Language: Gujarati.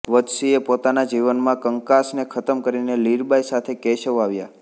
વજસીએ પોતાના જીવનમાં કંકાસને ખતમ કરીને લીરબાઈ સાથે કેશવ આવ્યા